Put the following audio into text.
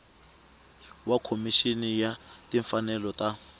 wa khomixini ya timfanelo ta